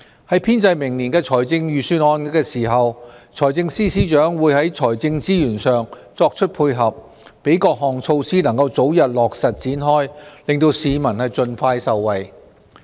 在編製明年的財政預算案時，財政司司長會在財政資源上作出配合，讓各項措施能早日落實展開，令市民盡快受惠。